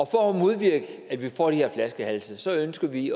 for at modvirke at vi får de her flaskehalse ønsker vi